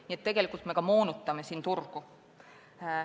Nii et me tegelikult ka moonutame turgu.